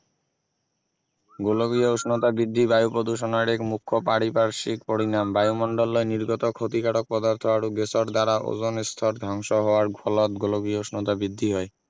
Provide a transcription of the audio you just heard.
গোলকীয় উষ্ণতা বৃদ্ধি বায়ু প্ৰদূষণৰ এক মুখ্য পাৰিপাৰ্শিক পৰিণাম বায়ুমণ্ডলত নিৰ্গত ক্ষতিকাৰক পদাৰ্থ আৰু গেছৰ দ্বাৰা অজন স্তৰ ধ্বংস হোৱাৰ ফলত গোলকীয় উষ্ণতা বৃদ্ধি হয়